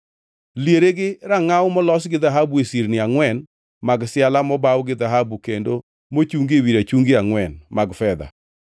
Liere gi rangʼaw molos gi dhahabu e sirni angʼwen mag siala mobaw gi dhahabu kendo mochungi ewi rachungi angʼwen mag fedha.